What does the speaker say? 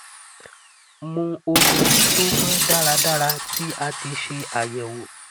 mu omi to mọ daradara ti a ti ṣe àyẹwọ